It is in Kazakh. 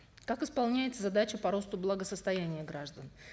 как исполняется задача по росту благосостояния граждан